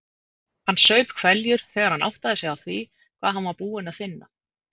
Hann saup hveljur þegar hann áttaði sig á því hvað hann var búinn að finna.